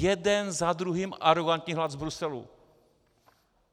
Jeden za druhým arogantní hlas z Bruselu.